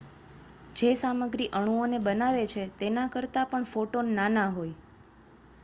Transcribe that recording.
જે સામગ્રી અણુઓને બનાવે છે તેના કરતાં પણ ફોટોન નાના હોય